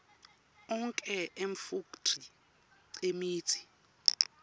onkhe emafekthri emitsi